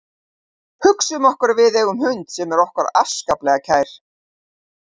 Hugsum okkur að við eigum hund sem er okkur afskaplega kær.